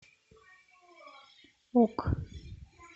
ок